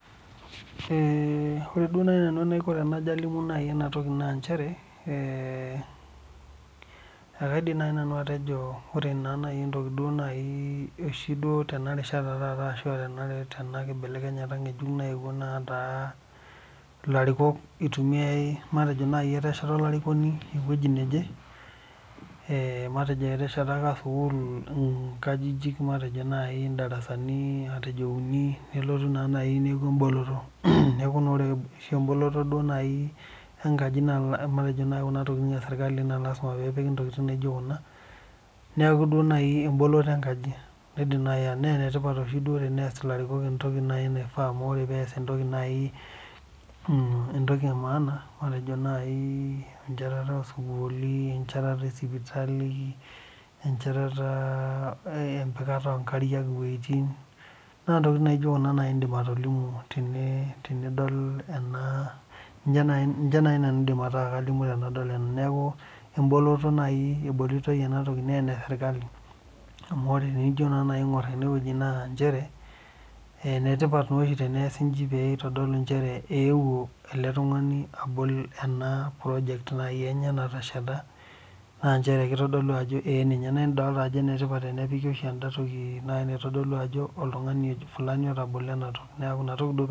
Ore naaji nanu enaiko tenalimu ena mbae naa njere ekaidim naaji naanu atejo ore oshi Tena rishata ashu Tena kibelekenyata ng'ejuk nayewuo netaa elarikok eitumiai matejo naaji eteshat olarikoni ewueji neje matejo eteshetaka sukuul darasani uni nelotu neeku eboloto neeku ore eboloto enkajit naa Kuna tokitin esirkali neeku eboloto enkajit neeku enetipat duo tenias elarikok entoki naifaa amu ore peas entoki emaana matejo naaji enjetata osukulini enjatata osipitalini empikata oo nkariak wuejitin naa ntokitin nidim atolimu tenidol ena ninche naaji nanu aidim atolimu tenadol ena neeku eboloto naa enesirkali amu ore tenijo aing'or enewueji naa njere enetipat oshi teniasi eji pee eitodolu ewuo oltung'ani abol ena project enye natesheta naa njere ee kitodolu naa enetipat oshi tenepiki ena toki najii naitodolu Ajo oltung'ani Fulani otabolo